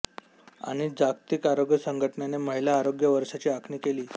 आणि जागतिक आरोग्य संघटनेने महिला आरोग्य वर्षाची आखणी केली